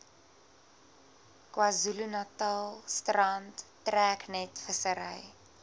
kzn strand treknetvissery